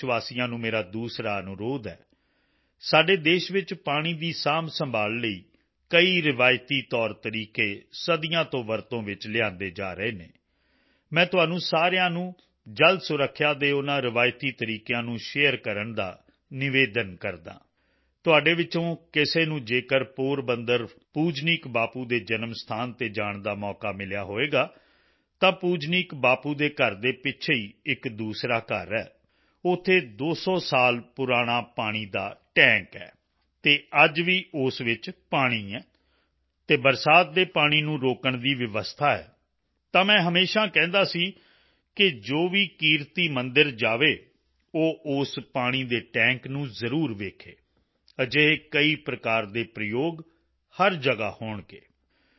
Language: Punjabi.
ਦੇਸ਼ਵਾਸੀਆਂ ਨੂੰ ਮੇਰਾ ਦੂਸਰਾ ਅਨੁਰੋਧ ਹੈ ਸਾਡੇ ਦੇਸ਼ ਵਿੱਚ ਪਾਣੀ ਦੀ ਸਾਂਭਸੰਭਾਲ਼ ਲਈ ਕਈ ਰਿਵਾਇਤੀ ਤੌਰਤਰੀਕੇ ਸਦੀਆਂ ਤੋਂ ਵਰਤੋਂ ਵਿੱਚ ਲਿਆਂਦੇ ਜਾ ਰਹੇ ਹਨ ਮੈਂ ਤੁਹਾਨੂੰ ਸਾਰਿਆਂ ਨੂੰ ਜਲ ਸੁਰੱਖਿਆ ਦੇ ਉਨ੍ਹਾਂ ਰਿਵਾਇਤੀ ਤਰੀਕਿਆਂ ਨੂੰ ਸ਼ੇਅਰ ਕਰਨ ਦਾ ਨਿਵੇਦਨ ਕਰਦਾ ਹਾਂ ਤੁਹਾਡੇ ਵਿੱਚੋਂ ਕਿਸੇ ਨੂੰ ਜੇਕਰ ਪੋਰਬੰਦਰ ਪੂਜਨੀਕ ਬਾਪੂ ਦੇ ਜਨਮ ਸਥਾਨ ਤੇ ਜਾਣ ਦਾ ਮੌਕਾ ਮਿਲਿਆ ਹੋਵੇਗਾ ਤਾਂ ਪੂਜਨੀਕ ਬਾਪੂ ਦੇ ਘਰ ਦੇ ਪਿੱਛੇ ਹੀ ਇੱਕ ਦੂਸਰਾ ਘਰ ਹੈ ਉੱਥੇ 200 ਸਾਲ ਪੁਰਾਣਾ ਪਾਣੀ ਦਾ ਟੈਂਕ ਵਾਟਰ ਸਟੋਰੇਜ ਟੈਂਕ ਹੈ ਅਤੇ ਅੱਜ ਵੀ ਉਸ ਵਿੱਚ ਪਾਣੀ ਹੈ ਅਤੇ ਬਰਸਾਤ ਦੇ ਪਾਣੀ ਨੂੰ ਰੋਕਣ ਦੀ ਵਿਵਸਥਾ ਹੈ ਤਾਂ ਮੈਂ ਹਮੇਸ਼ਾ ਕਹਿੰਦਾ ਸੀ ਕਿ ਜੋ ਵੀ ਕੀਰਤੀ ਮੰਦਿਰ ਜਾਏ ਉਹ ਉਸ ਪਾਣੀ ਦੇ ਟੈਂਕ ਨੂੰ ਜ਼ਰੂਰ ਵੇਖੇ ਅਜਿਹੇ ਕਈ ਪ੍ਰਕਾਰ ਦੇ ਪ੍ਰਯੋਗ ਹਰ ਜਗ੍ਹਾ ਹੋਣਗੇ